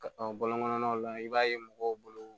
Ka ɔ bɔlɔn kɔnɔnaw la i b'a ye mɔgɔw bolo